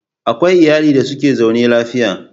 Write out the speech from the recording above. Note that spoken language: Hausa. Akwai iyali da suke zaune lafiya.